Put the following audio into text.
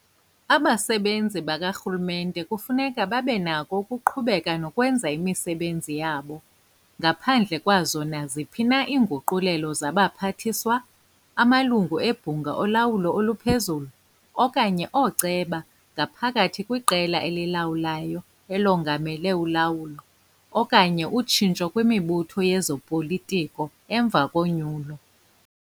Abasebenzi bakarhulumente kufuneka babenakho ukuqhubeka nokwenza imisebenzi yabo "ngaphandle kwazo naziphi na iinguqulelo zaBaphathiswa, aMalungu eBhunga oLawulo oluPhezulu okanye ooCeba ngaphakathi kwiqela elilawulayo elongamele ulawulo, okanye utshintsho kwimibutho yezopolitiko emva konyulo".